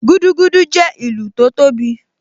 Gúdúgúdú jẹ́ ìlù tó tóbi